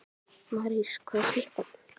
Marís, hvað er klukkan?